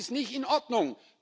Das ist nicht in Ordnung.